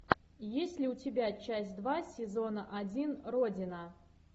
есть ли у тебя часть два сезона один родина